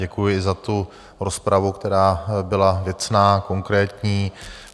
Děkuji za tu rozpravu, která byla věcná a konkrétní.